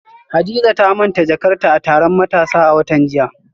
Hadiza ta manta jakarta a taron matasa a watan jiya